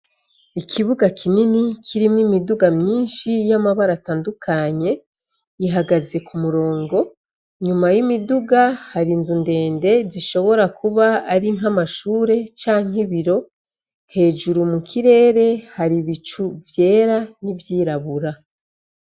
Ikibuga kinini kirimwo imiduga myinshi y' amabara atandukanye, ihagaze Ku murongo, inyuma y' imiduga hariyo inzu ndende zishobora kuba ari nk' amashure canke ibiro, hejuru mu kirere hari ibicu vyera n' ivyirabura.